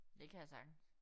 Det kan jeg sagtens